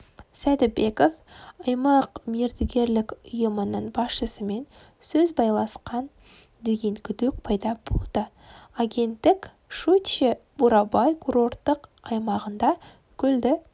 сәдібеков аймақ мердігерлік ұйымының басшысымен сөз байласқан деген күдік пайда болды агенттікщучье-бурабай курорттық аймағында көлді